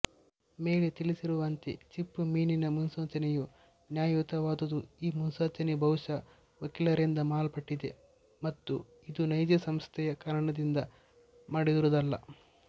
ಮೇಲೆ ತಿಳಿಸಿರುವಂತೆ ಚಿಪ್ಪುಮೀನಿನ ಮುನ್ಸೂಚನೆಯು ನ್ಯಾಯಯುತವಾದುದುಈ ಮುನ್ಸೂಚನೆಯು ಬಹುಶಃ ವಕೀಲರಿಂದ ಮಾಡಲ್ಪಟ್ಟಿದೆ ಮತ್ತು ಇದು ನೈಜ ಸಮಸ್ಯೆಯ ಕಾರಣದಿಂದ ಮಾಡಿರುವುದಲ್ಲ